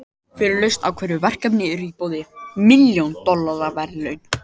Fyrir lausn á hverju verkefni eru í boði milljón dollara verðlaun.